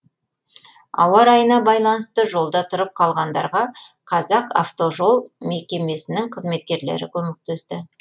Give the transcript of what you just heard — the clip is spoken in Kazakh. ауа райына байланысты жолда тұрып қалғандарға қазақавтожол мекемесінің қызметкерлері көмектесті